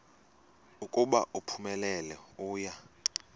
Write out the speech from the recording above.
ukuba uphumelele uya